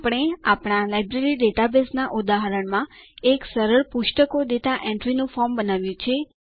આપણે આપણા લાયબ્રેરી ડેટાબેઝના ઉદાહરણમાં એક સરળ પુસ્તકો ડેટા એન્ટ્રીનું ફોર્મ બનાવ્યું છે